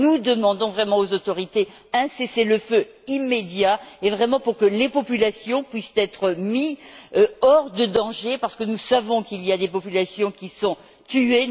Nous demandons vraiment aux autorités un cessez le feu immédiat pour que les populations puissent être mises hors de danger, parce que nous savons qu'il y a des populations qui sont tuées.